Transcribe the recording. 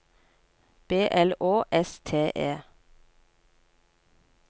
B L Å S T E